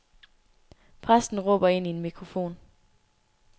Præsten råber ind i en mikrofon.